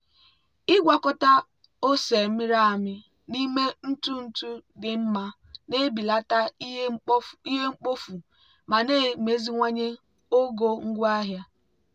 ịgwakọta ose mịrị amị n'ime ntụ ntụ dị mma na-ebelata ihe mkpofu ma na-emeziwanye ogo ngwaahịa.